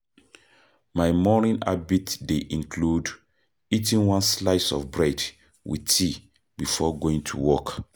My morning habit dey include eating one slice of bread with tea before going to work.